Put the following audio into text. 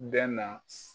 Bɛ na